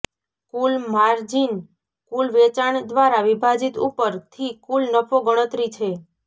કુલ margin કુલ વેચાણ દ્વારા વિભાજિત ઉપર થી કુલ નફો ગણતરી છે